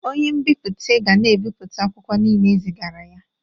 Onye nbipute ka na-ebipụta akwụkwọ niile ezigara ya